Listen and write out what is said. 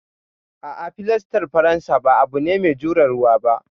A'a, filastar faransa ba abu ne mai jure ruwa ba.